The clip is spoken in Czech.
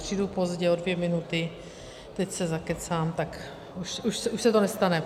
Přijdu pozdě o dvě minuty, teď se zakecám, tak už se to nestane.